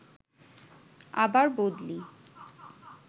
আবার বদলি